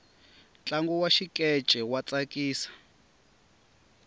ntlangu wa xikeche wa tsakisa